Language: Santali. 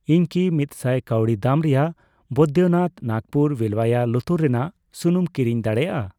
ᱤᱧ ᱠᱤ ᱢᱤᱛ ᱥᱟᱭ ᱠᱟᱣᱰᱤ ᱫᱟᱢ ᱨᱮᱭᱟᱜ ᱵᱚᱭᱫᱚᱱᱟᱛᱷ ᱱᱟᱜᱯᱩᱨ ᱵᱤᱞᱣᱭᱟ ᱞᱩᱛᱩᱨ ᱨᱮᱱᱟᱜ ᱥᱩᱱᱩᱢ ᱠᱤᱨᱤᱧ ᱫᱟᱲᱮᱭᱟᱜᱼᱟ ?